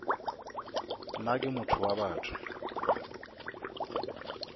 nna ke motho wa batho